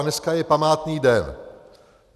A dneska je památný den.